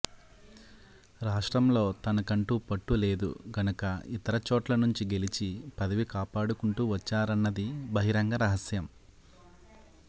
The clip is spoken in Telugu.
రాష్ట్రంలో తనకంటూ పట్టు లేదు గనక ఇతర చోట్ల నుంచి గెలిచి పదవి కాపాడుకుంటూ వచ్చారన్నది బహిరంగ రహస్యం